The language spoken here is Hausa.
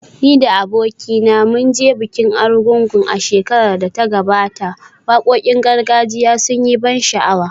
Ni da abokina mun je bikin Argungu a shekarar da ta gabata, wakokin gargajiya sun yi ban sha’awa